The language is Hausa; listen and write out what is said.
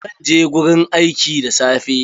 Zan je gurin aiki da safe.